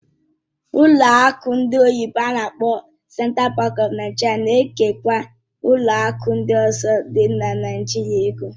Ụlọ akụ ndị oyibo n'akpọ "Central Bank of Nigeria" na-ekenye ụlọ akụ ndị ọzọ dị na Naịjirịa ego.